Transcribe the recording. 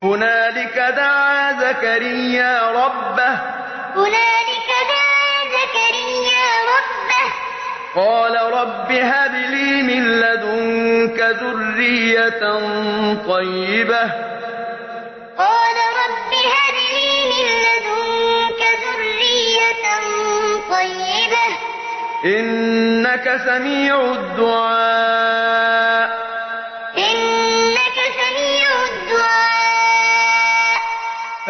هُنَالِكَ دَعَا زَكَرِيَّا رَبَّهُ ۖ قَالَ رَبِّ هَبْ لِي مِن لَّدُنكَ ذُرِّيَّةً طَيِّبَةً ۖ إِنَّكَ سَمِيعُ الدُّعَاءِ هُنَالِكَ دَعَا زَكَرِيَّا رَبَّهُ ۖ قَالَ رَبِّ هَبْ لِي مِن لَّدُنكَ ذُرِّيَّةً طَيِّبَةً ۖ إِنَّكَ سَمِيعُ الدُّعَاءِ